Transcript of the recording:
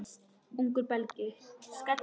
Ungur Belgi.